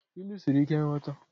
Ilu siri ike nghọta